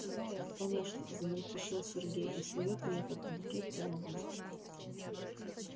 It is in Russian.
да ир конечно замельтешил сергей и сует мне этот букет прямо в нос